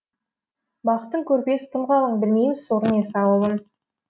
бақыттың көрпесі тым қалың білмейміз соры не сауабын